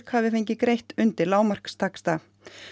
hafi fengið greitt undir lágmarkstaxta